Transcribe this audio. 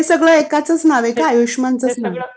हे सगळं एकाचंच नाव आहे का? आयुष्यमानचंच नाव आहे?